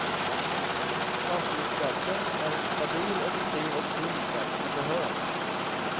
Fastighetsskatten är en stabil, effektiv och sund skatt som behövs.